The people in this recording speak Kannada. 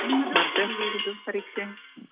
ನಿಮ್ಮದು ಎಲ್ಲಿ ಇರುದು ಪರೀಕ್ಷೆ?